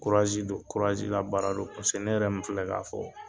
don, labaara don ne yɛrɛ min filɛ ka fɔ